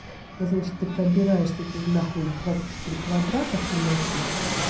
и вот значит ты пробираешься на хуй двадцать четыре квадрата в темноте